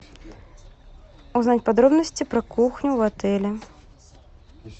узнать подробности про кухню в отеле